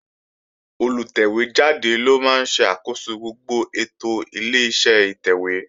Olùtẹ̀wé jáde ló máa ń ṣe àkóso gbogbo ètò Ileṣẹ́ ìtẹ̀wé